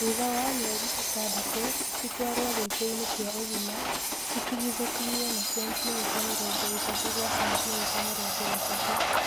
Thutha wa mĩeli ĩtandatũ, cĩtwaro gĩitoinĩ kĩa ũgima itigithũkanio na sentimita mĩrongo ĩtatũ gwa sentimita mĩrongo ĩtatũ